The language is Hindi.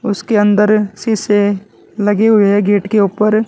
उसके अंदर शीशे लगे हुए हैं गेट के ऊपर।